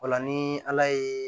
O la ni ala ye